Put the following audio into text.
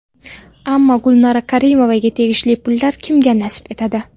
Ammo Gulnora Karimovaga tegishli pullar kimga nasib etadi?